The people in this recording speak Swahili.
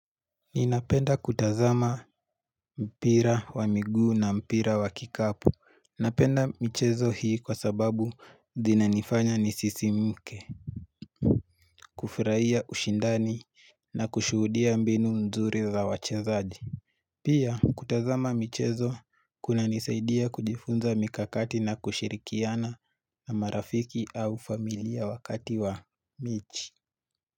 Ninapenda kutazama mpira wa miguu na mpira wa kikapu. Napenda michezo hii kwa sababu zinanifanya ni sisi mke. Kufraia ushindani na kushuhudia mbinu mzuri za wachezaji. Pia kutazama michezo kunanisaidia kujifunza mikakati na kushirikiana na marafiki au familia wakati wa michi.